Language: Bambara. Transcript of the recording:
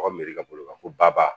Ka miiri ka bolo kan ko baba